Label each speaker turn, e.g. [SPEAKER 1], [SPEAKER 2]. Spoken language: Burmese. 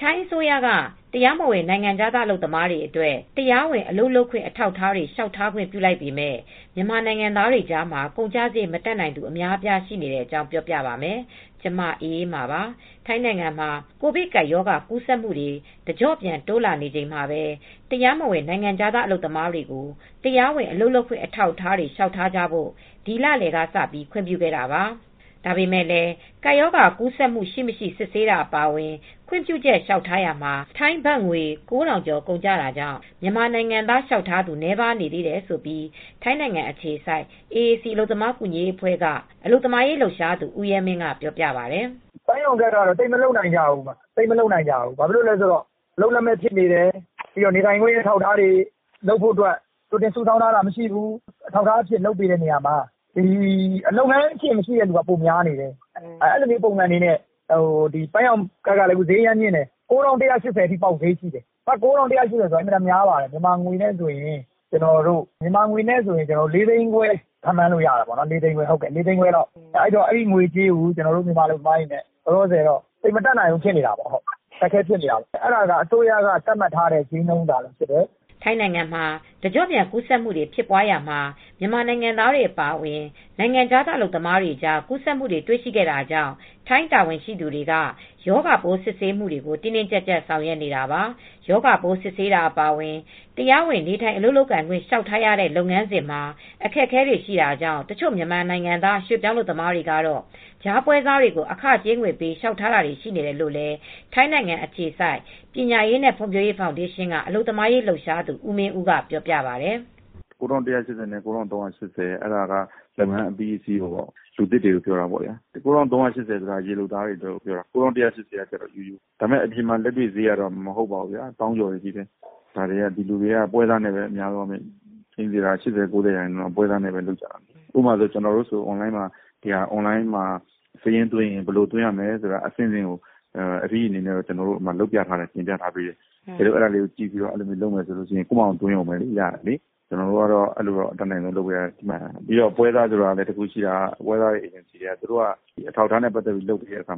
[SPEAKER 1] ထိုင်းအစိုးရက တရားမဝင် နိုင်ငံခြားသား အလုပ်သမားတွေအတွက် တရားဝင် အလုပ်လုပ်ခွင့် အထောက်အထားတွေ လျှောက်ထားခွင့် ပြုလိုက်ပေမဲ့ မြန်မာနိုင်ငံသားတွေကြားမှာ ကုန်ကျစရိတ် မတတ်နိုင်သူ အများအပြား ရှိနေတဲ့အကြောင်း ပြောပြပါမယ်။ ဗွီအိုအေမြန်မာပိုင်းသတင်းထောက် မအေးအေးမာက သတင်းပေးပို့ထားပါတယ်။ ထိုင်းနိုင်ငံမှာ ကိုဗစ်ကပ်ရောဂါ ကူးစက်မှုတွေ တကျော့ပြန် တိုးလာနေချိန်မှာပဲ တရားမဝင် နိုင်ငံခြားသား အလုပ်သမားတွေကို တရားဝင် အလုပ်လုပ်ခွင့် အထောက်အထားတွေ လျှောက်ထားကြဖို့ ဒီလလယ်ကစ ခွင့်ပြုခဲ့တာပါ။ ဒါပေမဲ့လည်း ကပ်ရောဂါကူးစက်မှု ရှိမရှိ စစ်ဆေးတာ အပါအဝင် ခွင့်ပြုချက် လျှောက်ထားရာမှာ ထိုင်းဘတ်ငွေ ၉,၀၀၀ ကျော် ကုန်ကျတာကြောင့် မြန်မာနိုင်ငံသား လျှောက်ထားသူ နည်းပါးနေတယ်လို့ ထိုင်းနိုင်ငံအခြေစိုက် AAC အလုပ်သမားကူညီရေးအဖွဲ့က အလုပ်သမားရေး လှုပ်ရှားသူ ဦးရဲမင်းကပြောပါတယ်။
[SPEAKER 2] "ပန်းရောက်ကဒ် က သိပ်မလုပ်နိုင်ကြဘူး။ အလုပ်လက်မဲ့ ဖြစ်နေကြတာရယ်၊ နေထိုင်ခွင့် အထောက်အထားတွေ လုပ်ဖို့အတွက် ကြိုတင်စုဆောင်းထားတာမရှိဘူး။ အထောက်အထားမဲ့တွေကို အထောက်အထားလုပ်ပေးပေမဲ့ လုပ်ငန်းရှင်မရှိသူက ပိုများနေတယ်။ ဘတ်ငွေက ၉,၁၈၀ ပေါက်ဈေး ရှိတယ်။ မြန်မာငွေနဲ့ဆို ၄၅၀,၀၀၀ လောက်ရှိတယ်။ ဒီငွေကြေးကို ကျနော်တို့ မြန်မာအလုပ်သမားတွေက သိပ်မတတ်နိုင်ကြဘူး။ အဲဒါက အစိုးရက သတ်မှတ်ထားတဲ့ဈေးနှုန်း ဖြစ်နေတယ်။"
[SPEAKER 1] ထိုင်းနိုင်ငံမှာ တကျော့ပြန် ကပ်ရောဂါကူးစက်မှုတွေ ဖြစ်ပွားရာမှာ မြန်မာနိုင်ငံသားတွေ အပါအဝင် နိုင်ငံခြားသား အလုပ်သမားတွေကြား ကူးစက်မှုတွေ တွေ့ရှိခဲ့တာကြောင့် ထိုင်းတာဝန်ရှိသူတွေက ရောဂါပိုး စစ်ဆေးမှုတွေကို တင်းတင်းကြပ်ကြပ် ဆောင်ရွက်နေတာပါ။ ရောဂါပိုး စစ်ဆေးတာ အပါအဝင် တရားဝင် နေထိုင်အလုပ်လုပ်ကိုင်ခွင့် လျှောက်ထားရတဲ့ လုပ်ငန်းစဉ်မှာ အခက်အခဲတွေ ရှိတာကြောင့် တချို့မြန်မာနိုင်ငံသား ရွှေ့ပြောင်းအလုပ်သမားတွေကတော့ ကြားပွဲစားတွေကို အခကြေးငွေပေး လျှောက်ထားတာတွေ ရှိနေတယ်လို့လည်း ထိုင်းနိုင်ငံအခြေစိုက် ပညာရေးနဲ့ ဖွံ့ဖြိုးရေးဖောင်ဒေးရှင်းက အလုပ်သမားရေးလှုပ်ရှားသူ ဦးမင်းဦးကပြောပါတယ်။
[SPEAKER 3] "၉,၁၈၀ ဘတ် နဲ့ ၉,၃၈၀ ဘတ်က လုပ်ငန်းအပြီးအစီးပါ လူသစ်တွေကို ပြောတာပါ။ ၉,၃၈၀ ဘတ်က ရေလုပ်သားတွေကို ပြောတာပါ။ ကျန်တဲ့သူတွေက ၉,၁၈၀ ဘတ်ပါ။ ဒါပေမဲ့အပြင်မှာ လက်တွေ့ဈေးက သောင်းကျော်ပေးရတယ်။ အများစု ၉၀ ရာခိုင်နှုန်းက ပွဲစားနဲ့ပဲ သွားလုပ်ကြတယ်။ ကျနော်တို့ကတော့ ဘယ်လို့ စာရင်းသွင်းရမယ်ဆိုတာအဆင့်ဆင့် FED အနေနဲ့ ကျနော်တို့ တင်ပြပေးထားတယ်၊ ပညာပေးထားတယ်။ လုပ်တတ်ရင် ကိုယ့်ဖာသာသွင်းရုံပဲ။ ဒါပေမဲ့ ပွဲစားက အထောက်အထားနဲ့ လုပ်ပေးတဲ့အခါ